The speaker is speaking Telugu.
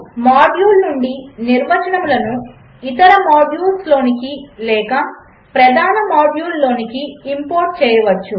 మాడ్యూల్ నుండి నిర్వచనములను ఇతర మాడ్యూల్స్లోనికి లేక ప్రధాన మాడ్యూల్లోనికి ఇంపోర్ట్ చేయవచ్చు